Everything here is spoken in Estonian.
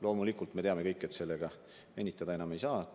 Loomulikult me teame kõik, et sellega enam venitada ei saa.